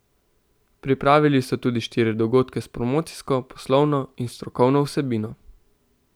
Pripravili so tudi štiri dogodke s promocijsko, poslovno in strokovno vsebino.